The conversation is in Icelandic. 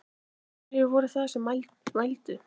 Hverjir voru það sem vældu?